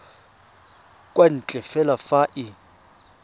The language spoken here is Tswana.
kwa ntle fela fa e